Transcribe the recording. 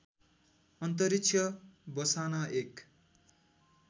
अन्तरिक्ष बसाना एक